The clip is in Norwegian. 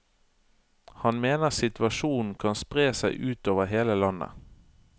Han mener situasjonen kan spre seg ut over hele landet.